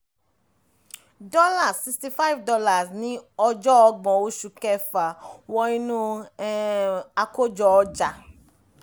dọ́là $65 ní ọjọ́ ọgbọ̀n oṣù kẹfà wọ inú um àkójọ-ọjà